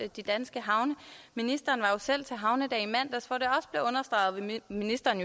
de danske havne ministeren var jo selv til havnedag i mandags hvor det og ministeren